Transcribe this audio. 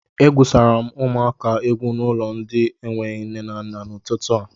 E gwùsara m ụmụaka egwú n'ụlọ ndi n'enweghị nne na nna n'ututu a